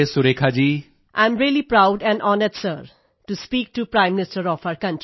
I am really proud and honoured sir to speak to prime minister of our country